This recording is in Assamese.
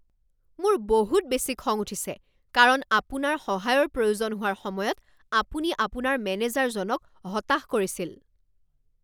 মোৰ বহুত বেছি খং উঠিছে কাৰণ আপোনাৰ সহায়ৰ প্ৰয়োজন হোৱাৰ সময়ত আপুনি আপোনাৰ মেনেজাৰজনক হতাশ কৰিছিল।